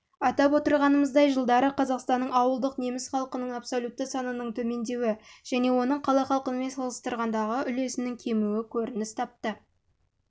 атап отырғанымыздай жылдарда қазақстанның ауылдық неміс халқының абсолютті санының төмендеуі және оның қала халқымен салыстырғанда үлесінің кемуі көрініс